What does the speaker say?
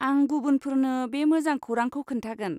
आं गुबुनफोरनो बे मोजां खौरांखौ खोन्थागोन!